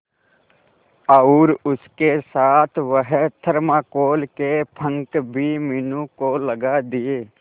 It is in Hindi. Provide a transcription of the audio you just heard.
और उसके साथ वह थर्माकोल के पंख भी मीनू को लगा दिए